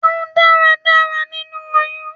Jẹun dáradára nínú oyún!